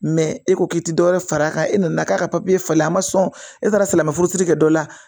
e ko k'i ti dɔwɛrɛ far'a kan e nana k'a ka falen a ma sɔn e taara silamɛ furusiri kɛ dɔ la